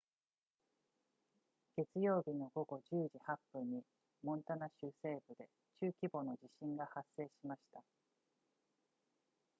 月曜日の午後10時8分にモンタナ州西部で中規模の地震が発生しました